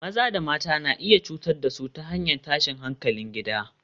Maza da mata na iya cutar da su ta hanyar tashin hankalin gida